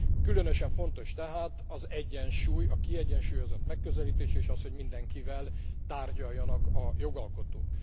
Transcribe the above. Különösen fontos tehát az egyensúly, a kiegyensúlyozott megközelítés, és az, hogy mindenkivel tárgyaljanak a jogalkotók.